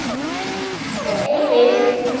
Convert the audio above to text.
Einsog heil eilífð.